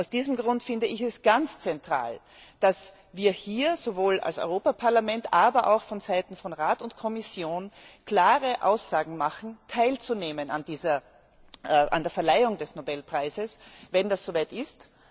Aus diesem Grund finde ich es ganz zentral, dass wir hier sowohl als Europaparlament, aber auch von Seiten von Rat und Kommission klare Aussagen machen, teilzunehmen an der Verleihung des Nobelpreises, wenn es soweit ist.